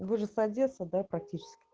вы же с одессы да практически